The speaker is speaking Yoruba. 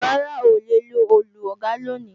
Rárá, oòlè lo Òòlù, Ọ̀gá ló ní